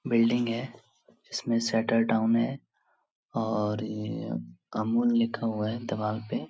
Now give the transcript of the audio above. Building हैं जिसमें shutter down है और ये कम ऑन लिखा हुआ है दीवार पे।